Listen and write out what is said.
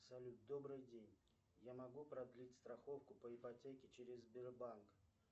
салют добрый день я могу продлить страховку по ипотеке через сбербанк